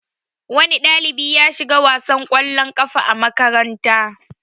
Wani ɗalibi ya shiga wasar kwallon kafa a makaranta.